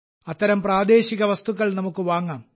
അത്തരം പ്രാദേശിക വസ്തുക്കൾ നമുക്ക് വാങ്ങാം